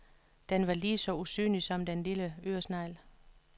Den var ligeså usynlig som den lille øresnegl.